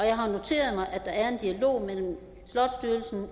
jeg har noteret mig at der er en dialog mellem slots